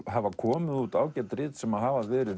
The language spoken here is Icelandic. hafa komið út ágæt rit sem hafa verið